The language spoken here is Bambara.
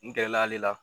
N gɛrɛla ale la